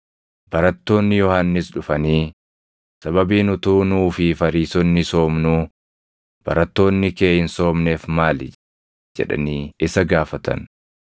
Barattoonni Yohannis dhufanii, “Sababiin utuu nuu fi Fariisonni soomnuu, barattoonni kee hin soomneef maali?” jedhanii isa gaafatan.